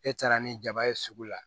E taara ni jaba ye sugu la